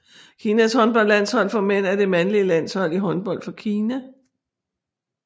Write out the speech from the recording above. Kinas håndboldlandshold for mænd er det mandlige landshold i håndbold for Kina